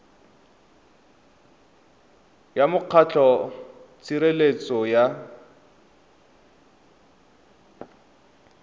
ya mokgatlho wa tshireletso ya